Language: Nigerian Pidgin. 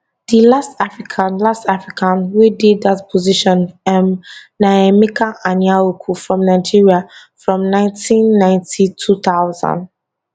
di last african last african wey dey dat position um na emeka anyaoku from nigeria from 1990 2000